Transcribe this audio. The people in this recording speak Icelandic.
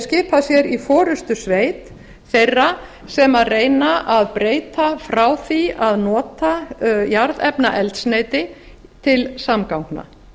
skipað sér í forustusveit þeirra sem reyna að breyta ár því að nota jarðefnaeldsneyti til samgangna